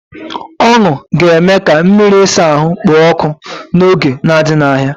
Ọṅụ ga-eme ka mmiri ịsa ahụ kpoo ọkụ n'oge na-adịghị anya.